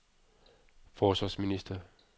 forsvarsminister